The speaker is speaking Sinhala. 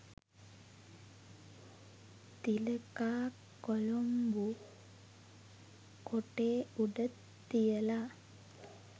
තිලකා කොලොම්බු කොටේ උඩ තියලා